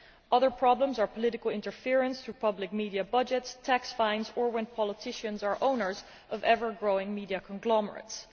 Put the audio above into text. Other problems are political interference through public media budgets, tax fines, or when politicians are owners of ever growing media conglomerates.